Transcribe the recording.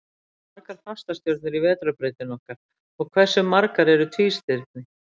Hvað eru margar fastastjörnur í Vetrarbrautinni okkar, og hversu margar eru tvístirni?